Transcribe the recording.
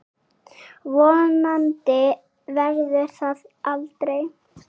Vonandi verður það aldrei.